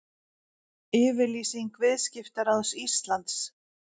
Yfirlýsing Viðskiptaráðs Íslands